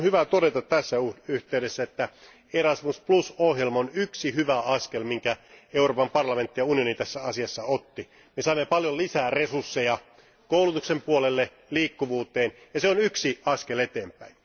On hyvä todeta tässä yhteydessä, että Erasmus ohjelma on yksi hyvä askel, jonka Euroopan parlamentti ja unioni tässä asiassa otti. Me saamme paljon lisää resursseja koulutuksen puolelle, liikkuvuuteen, ja se on yksi askel eteenpäin.